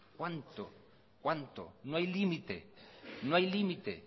cuánto cuánto no hay límite no hay límite